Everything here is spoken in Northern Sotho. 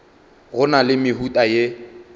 go na le mehuta ye